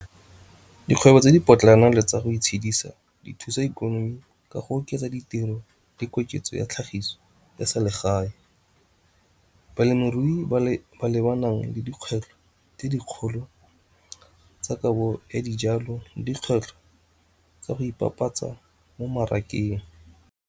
Dikgwebo tse di potlana le tsa go itshedisa di thusa ikonomi ka go oketsa ditiro le koketso ya tlhagiso ya selegae balemirui ba lebana le dikgwetlho tse dikgolo tsa kabo dijalo, dikgwetlho tsa go ipapatsa mo mmarakeng.